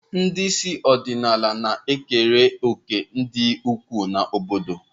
Ndị isi ọdịnala na-ekere òkè dị ukwuu na obodo.